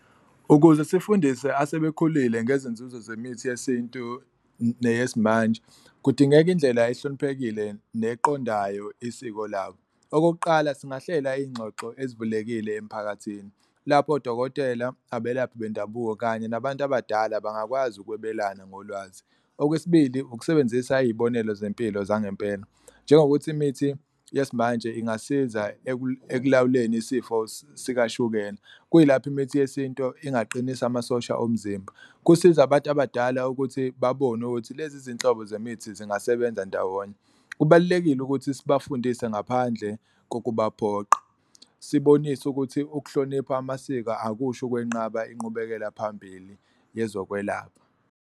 Ukuze sifundise asebekhulile ngezinzuzo zemithi yesintu neyesimanje kudingeka indlela ehloniphekile neqondayo isiko labo. Okokuqala, singahlela iy'ngxoxo ezivulekile emphakathini lapho odokotela, abelaphi bendabuko kanye nabantu abadala bangakwazi ukwebelana ngolwazi. Okwesibili, ukusebenzisa iy'bonelo zempilo zangempela njengokuthi imithi yesimanje ingasiza ekulawuleni isifo sikashukela kuyilapho imithi yesintu ingaqinisa amasosha omzimba, kusiza abantu abadala ukuthi babone ukuthi lezi zinhlobo zemithi zingasebenza ndawonye. Kubalulekile ukuthi sibafundise ngaphandle kokubaphoqa sibonise ukuthi ukuhlonipha amasiko akusho ukwenqaba inqubekela phambili yezokwelapha.